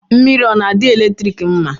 Mmiri ọ na-adị eletrik mma?